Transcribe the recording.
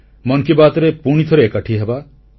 ମନ୍ କି ବାତ୍ରେ ପୁଣିଥରେ ଏକାଠି ହେବା